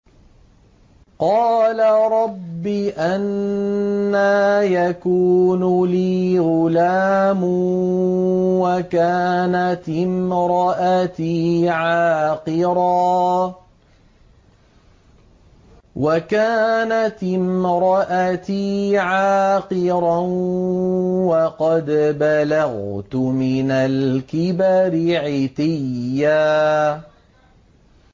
قَالَ رَبِّ أَنَّىٰ يَكُونُ لِي غُلَامٌ وَكَانَتِ امْرَأَتِي عَاقِرًا وَقَدْ بَلَغْتُ مِنَ الْكِبَرِ عِتِيًّا